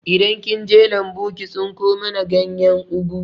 Idan kinje lambu ki tsinko mana ganyen ugu